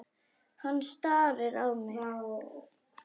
Hann starir á mig.